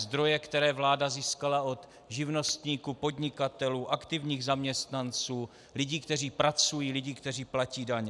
Zdroje, které vláda získala od živnostníků, podnikatelů, aktivních zaměstnanců, lidí, kteří pracují, lidí, kteří platí daně.